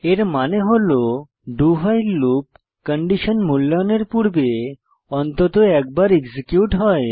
এর মানে হল do ভাইল লুপ কন্ডিশন মূল্যায়নের পূর্বে অন্তত একবার এক্সিকিউট হয়